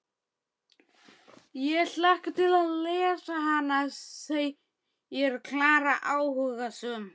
Ég hlakka til að lesa hana, segir Klara áhugasöm.